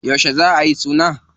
Yauce za a yi suna?